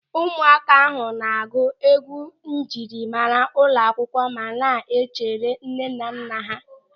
Ụmụaka ahụ na-agụ egwu njirimara ụlọakwụkwọ ma na-echere nnenanna ha.